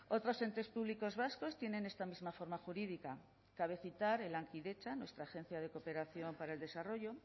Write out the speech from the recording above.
otros entes públicos vascos tienen esta misma forma jurídica cabe citar lankidetza nuestra agencia de cooperación para el desarrollo